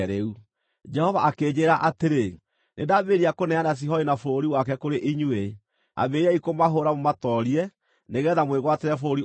Jehova akĩnjĩĩra atĩrĩ, “Nĩndambĩrĩria kũneana Sihoni na bũrũri wake kũrĩ inyuĩ. Ambĩrĩriai kũmahũũra mũmatoorie, nĩgeetha mwĩgwatĩre bũrũri ũcio wake.”